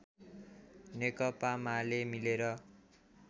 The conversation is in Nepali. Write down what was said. नेकपा माले मिलेर